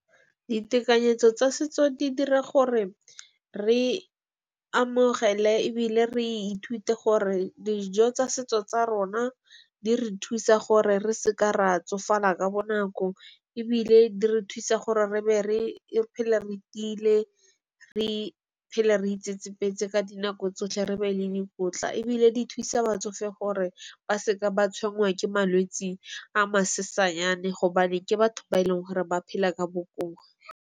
Ditekanyetso tsa setso di dira gore re amogele ebile re ithute gore dijo tsa setso tsa rona di re thusa gore re seke ra tsofala ka bonako. Ebile di re thusa gore re be re phele re tiile re phele re itsetsepele ka dinako tsotlhe. Re be le dikotla ebile di thusa batsofe gore ba seka ba tshwaruwa ke malwetse a masesanyana, gobane ke batho ba e leng gore ba phela ka bokoa.